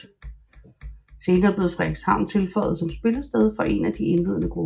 Senere blev Frederikshavn tilføjet som spillested for en af de indledende grupper